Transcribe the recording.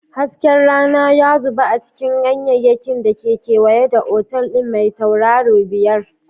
Hasken rana ya zubo a cikin ganyayyakin da ke kewaye da otal ɗin mai tauraro biyar.